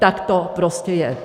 Tak to prostě je.